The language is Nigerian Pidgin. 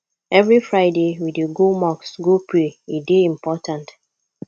every friday we dey go mosque go pray e dey important